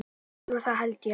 Jú það held ég.